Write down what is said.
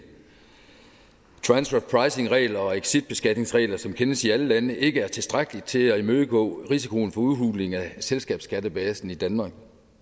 transferpricingregler og exitbeskatningsregler som kendes i alle lande ikke er tilstrækkelige til at imødegå risikoen for udhuling af selskabsskattebasen i danmark